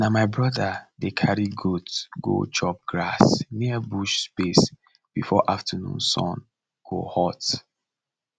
na my brother dey carry goat go chop grass near bush space before afternoon sun go hot